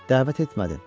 Dəvət etmədin.